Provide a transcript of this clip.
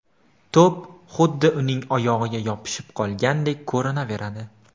To‘p xuddi uning oyog‘iga yopishib qolgandek ko‘rinaveradi.